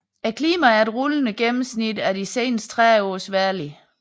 Klimaet er et rullende gennemsnit af de seneste 30 års vejrlig